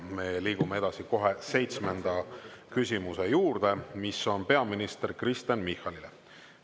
Me liigume edasi kohe seitsmenda küsimuse juurde, mis on peaminister Kristen Michalile.